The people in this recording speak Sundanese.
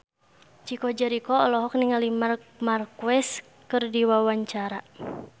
Chico Jericho olohok ningali Marc Marquez keur diwawancara